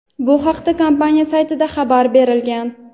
Bu haqda kompaniya saytida xabar berilgan.